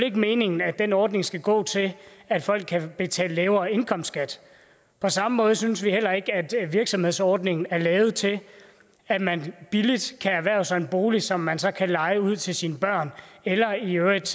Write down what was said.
ikke meningen at den ordning skal gå til at folk kan betale lavere indkomstskat på samme måde synes vi heller ikke at virksomhedsordningen er lavet til at man billigt kan erhverve sig en bolig som man så kan leje ud til sine børn eller i øvrigt